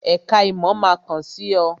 Èka ìmò máa kàn sí ọ